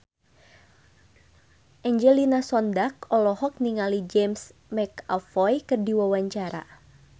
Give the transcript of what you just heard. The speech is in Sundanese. Angelina Sondakh olohok ningali James McAvoy keur diwawancara